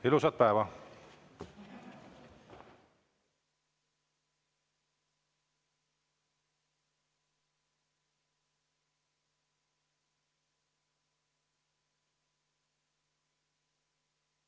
Ilusat päeva!